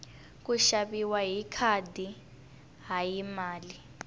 ku xaviwa hi khadi hayi mali